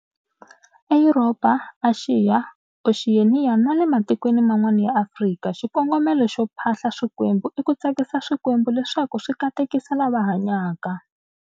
E Yuropa, Axiya, Oxiyeniya na le matikweni man'wana ya Afrika, xikongomelo xo phahla swikwembu i ku tsakisa swikembu leswaku swi katekisa lava hanyaka.